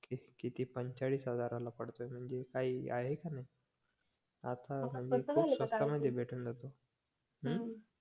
किती पंचेचाळीस हजाराला पडतोय म्हणजे काही आहे का नाही आता भेटून जातो हम्म